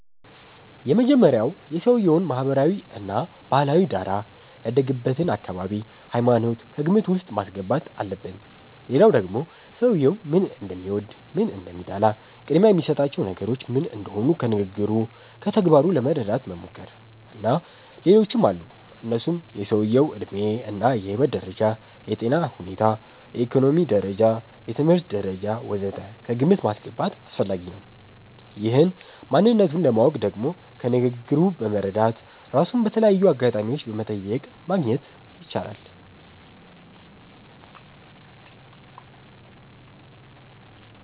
የመጀመሪያዉ የሰዉየዉን ማህበራዊ እና ባህላዊ ዳራ፣ ያደገበትን አካባቢ፣ ሃይማኖት ከግምት ዉስጥ ማስገባት አለብን ሌላዉ ደግሞ ሰዉየዉ ምን እንደሚወድ፣ ምን እንደሚጠላ፣ ቅድሚያ የሚሰጣቸው ነገሮች ምን እንደሆኑ ከንግግሩ፣ ከተግባሩ ለመረዳት መሞከር። እና ሌሎችም አሉ እነሱም የሰዉየዉ ዕድሜ እና የህይወት ደረጃ፣ የጤና ሁኔታ፣ የኢኮኖሚ ደረጃ፣ የትምህርት ደረጃ ወ.ዘ.ተ ከግምት ማስገባት አስፈላጊ ነዉ። ይህን ማንነቱን ለማወቅ ደግሞ ከንግግሩ በመረዳት፣ ራሱን በተለያዩ አጋጣሚዎች በመጠየቅ ማግኘት ይቻላል